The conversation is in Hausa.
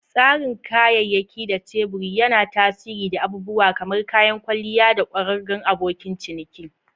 Tsarin kayayyaki da kujeru yana tasiri da abubuwa kamar kayan kwalliya da kwararar abokin ciniki.